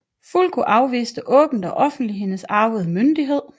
Fulko afviste åbent og offenligt hendes arvede myndighed